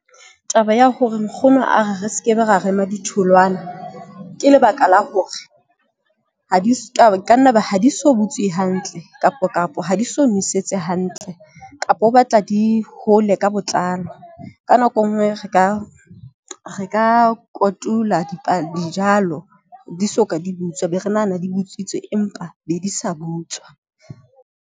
Taba ya hore nkgono a re re skebe, ra rema ditholwana. Ke lebaka la hore ha di kanna ba ha di so butswe hantle kapo kapo ha di so nosetswe hantle, kapa o batla tla di hole ka botlalo. Ka nako e nngwe re ka re ka kotula, dijalo di soka di butswa be re nahana di botswitse, empa be di sa butswa.